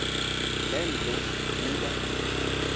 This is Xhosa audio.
le nto kuba